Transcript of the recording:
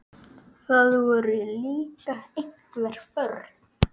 Það voru líka einhver börn.